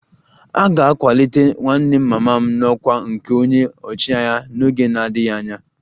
A ga-akwalite nwanne mama m n'ọkwá nke onye ọchịagha n'oge na-adịghị anya